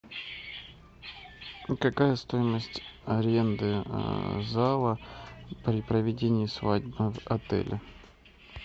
какая стоимость аренды зала при проведении свадьбы в отеле